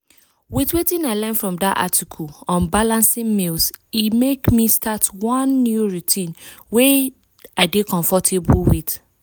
with wetin i learn from dat article on balancing meals e make me start one new routine wey i dey comfortable with.